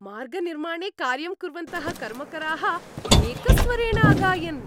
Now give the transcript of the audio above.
मार्गनिर्माणे कार्यं कुर्वन्तः कर्मकराः एकस्वरेण अगायन्।